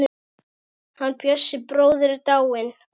Hann Bjössi bróðir er dáinn.